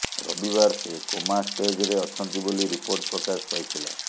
ରବିବାର ସେ କୋମା ଷ୍ଟେଜରେ ଅଛନ୍ତି ବୋଲି ରିପୋର୍ଟ ପ୍ରକାଶ ପାଇଥିଲା